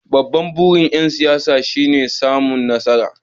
Babban burin ‘yan siyasa shine samun nasara.